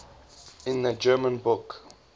in the german book